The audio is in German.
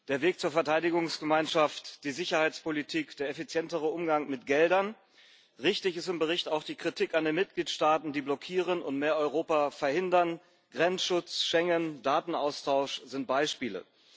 Der Weg zur Verteidigungsgemeinschaft, die Sicherheitspolitik, der effizientere Umgang mit Geldern. Richtig ist im Bericht auch die Kritik an den Mitgliedstaaten, die blockieren und mehr Europa verhindern Grenzschutz, Schengen, Datenaustausch sind Beispiele.